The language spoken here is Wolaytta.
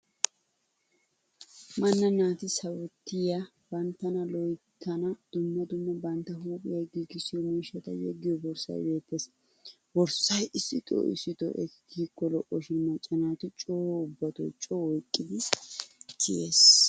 Manna naati sawottiya, banttana loyittanne dumma dumma bantta huuphiya giigissiyo miishshata yeggiyo borssay beettes. Borssay issitoo issitoo ekki kiyikko lo'o shin macca naati coo ubbatoo coo oyqqidi kiyees.